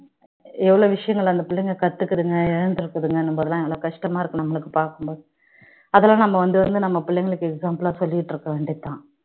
எவ்வளோ விஷயங்கள் அந்த பிள்ளைங்க கத்துக்கிதுங்க எல்லாம் கஷ்டமா இருக்கு நம்மளுக்கு பார்க்கும்போது அதுல நாம வந்து நம்ம பிள்ளைகளுக்கு example லா சொல்லிக்கிட்டு இருக்க வேண்டியது தான்